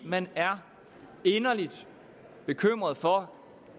man er inderligt bekymret for